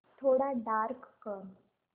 थोडा डार्क कर